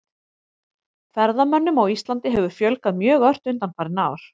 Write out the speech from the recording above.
Ferðamönnum á Íslandi hefur fjölgað mjög ört undanfarin ár.